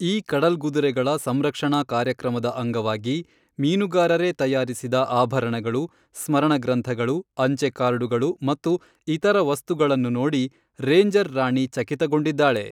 ಈ ಕಡಲ್ಗುದುರೆಗಳ ಸಂರಕ್ಷಣಾ ಕಾರ್ಯಕ್ರಮದ ಅಂಗವಾಗಿ, ಮೀನುಗಾರರೇ ತಯಾರಿಸಿದ ಆಭರಣಗಳು, ಸ್ಮರಣಗ್ರಂಥಗಳು, ಅಂಚೆ ಕಾರ್ಡುಗಳು, ಮತ್ತು ಇತರ ವಸ್ತುಗಳನ್ನು ನೋಡಿ ರೇಂಜರ್ ರಾಣಿ ಚಕಿತಗೊಂಡಿದ್ದಾಳೆ